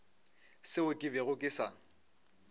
seo ke bego ke sa